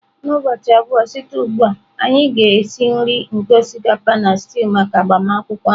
Ụbọchị abụọ site ugbu a, anyị ga-esi nri nke osikapa na stew maka agbamakwụkwọ ahụ